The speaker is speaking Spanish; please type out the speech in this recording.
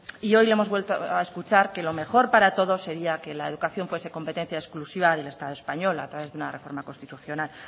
y hoy le hemos vuelto a escuchar que lo mejor para todos sería que la educación fuese competencia exclusiva del estado español a través de una reforma constitucional